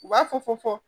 U b'a fɔ fɔ